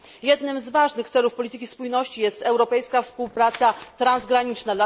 Jednym z ważnych celów polityki spójności jest europejska współpraca transgraniczna.